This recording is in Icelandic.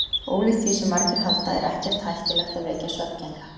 Ólíkt því sem margir halda er ekkert hættulegt að vekja svefngengla.